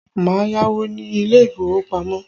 Má yáwó ni ilé ìfowópamọ́!